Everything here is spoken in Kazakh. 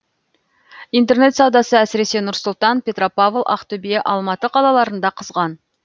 интернет саудасы әсірсесе нұр сұлтан петропавл ақтөбе алматы қалаларында қызған